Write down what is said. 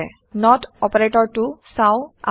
নত অপাৰেটৰটো চাওঁ আহক